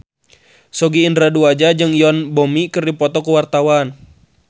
Sogi Indra Duaja jeung Yoon Bomi keur dipoto ku wartawan